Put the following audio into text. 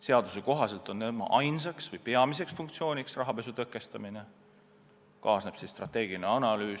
Seaduse kohaselt on tema peamine funktsioon rahapesu tõkestamine, lisaks veel strateegiline analüüs.